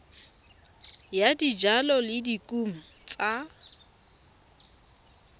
ya dijalo le dikumo tsa